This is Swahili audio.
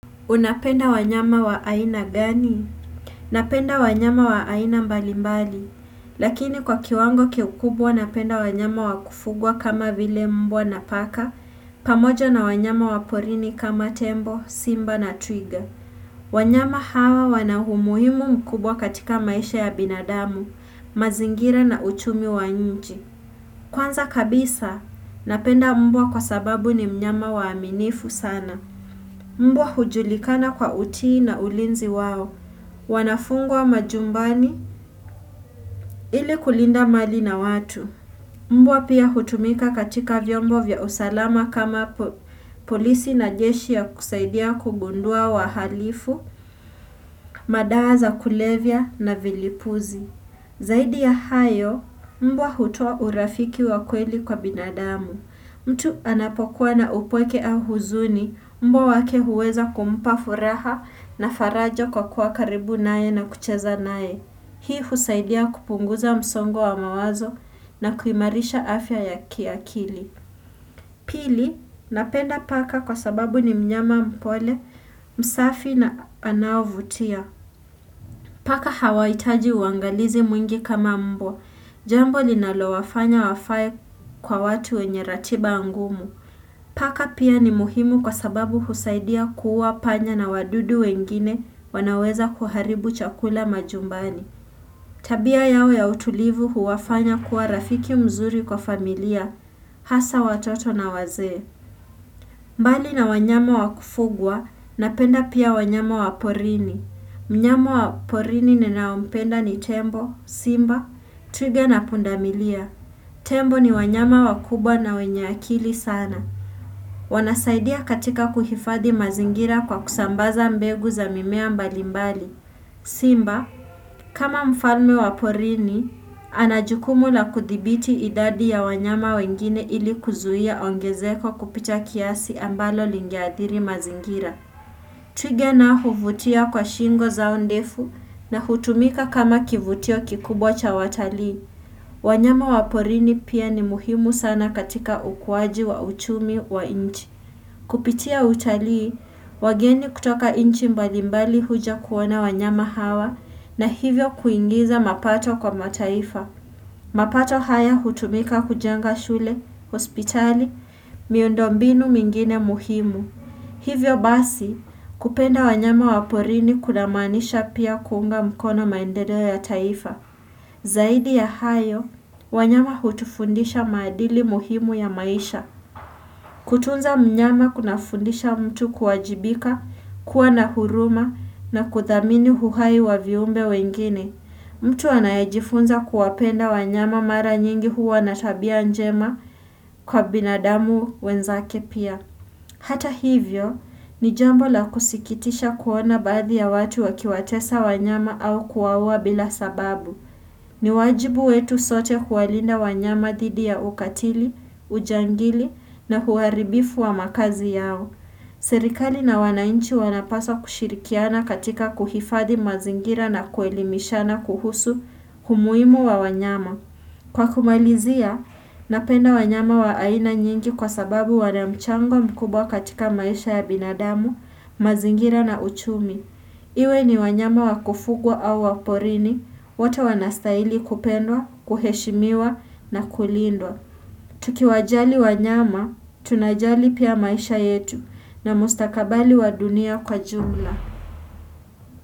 Unapenda wanyama wa aina gani? Napenda wanyama wa aina mbali mbali. Lakini kwa kiwango kiukubwa napenda wanyama wakufugwa kama vile mbwa na paka. Pamoja na wanyama waporini kama tembo, simba na twiga. Wanyama hawa wana umuhimu mkubwa katika maisha ya binadamu, mazingira na uchumi wa nchi. Kwanza kabisa, napenda mbwa kwa sababu ni mnyama waaminifu sana. Mbwa hujulikana kwa utii na ulinzi wao. Wanafungwa majumbani ili kulinda mali na watu. Mbwa pia hutumika katika vyombo vya usalama kama polisi na jeshi ya kusaidia kugundua wahalifu, madawa za kulevya na vilipuzi. Zaidi ya hayo, mbwa hutoa urafiki wa kweli kwa binadamu. Mtu anapokuwa na upweke au huzuni, mbwa wake huweza kumpa furaha na farajo kwa kuwa karibu nae na kucheza nae. Hii husaidia kupunguza msongo wa mawazo na kuimarisha afya ya kiakili. Pili, napenda paka kwa sababu ni mnyama mpole, msafi na anavutia. Paka hawaitaji uangalizi mwingi kama mbwa. Jambo linalowafanya wafae kwa watu wenye ratiba ngumu. Paka pia ni muhimu kwa sababu husaidia kuuwa panya na wadudu wengine wanaoweza kuharibu chakula majumbani. Tabia yao ya utulivu huwafanya kuwa rafiki mzuri kwa familia. Hasa watoto na wazee. Mbali na wanyama wakufugwa, napenda pia wanyama wa porini. Mnyama wa porini ninaompenda ni tembo, simba, twiga na pundamilia. Tembo ni wanyama wakubwa na wenye akili sana. Wanasaidia katika kuhifadi mazingira kwa kusambaza mbegu za mimea mbalimbali. Simba, kama mfalme wa porini, ana jukumu la kuthibiti idadi ya wanyama wengine ili kuzuia ongezeko kupita kiasi ambalo lingeadhiri mazingira. Twiga nao huvutia kwa shingo zao ndefu na hutumika kama kivutio kikubwa cha watalii. Wanyama wa porini pia ni muhimu sana katika ukuwaji wa uchumi wa inchi. Kupitia utalii, wageni kutoka inchi mbalimbali huja kuona wanyama hawa na hivyo kuingiza mapato kwa mataifa. Mapato haya hutumika kujenga shule, hospitali, miundo mbinu mingine muhimu. Hivyo basi, kupenda wanyama waporini kulamanisha pia kuunga mkono maendeleo ya taifa. Zaidi ya hayo, wanyama hutufundisha maadili muhimu ya maisha. Kutunza mnyama kuna fundisha mtu kuajibika, kuwa na huruma na kudhamini huhai wa viumbe wengine. Mtu anayejifunza kuwapenda wanyama mara nyingi huwa na tabia njema kwa binadamu wenzake pia. Hata hivyo, ni jambo la kusikitisha kuona badhi ya watu wakiwatesa wanyama au kuwauwa bila sababu. Ni wajibu wetu sote kuwalinda wanyama dhidi ya ukatili, ujangili na huaribifu wa makazi yao. Serikali na wanainchi wanapaswa kushirikiana katika kuhifadhi mazingira na kuelimishana kuhusu humuimu wa wanyama. Kwa kumalizia, napenda wanyama wa aina nyingi kwa sababu wana mchango mkubwa katika maisha ya binadamu, mazingira na uchumi. Iwe ni wanyama wakufugwa au waporini, wote wanastaili kupendwa, kuheshimiwa na kulindwa. Tukiwajali wanyama, tunajali pia maisha yetu na mustakabali wa dunia kwa jumla.